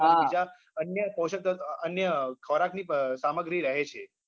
હા બીજા અન્ય પોષક તત્વો અમ અન્ય ખોરાકની અમ સામગ્રી રહે છે